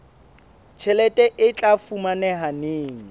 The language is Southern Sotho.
tjhelete e tla fumaneha neng